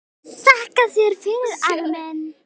Þakka þér fyrir, afi minn.